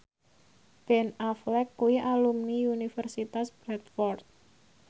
Ben Affleck kuwi alumni Universitas Bradford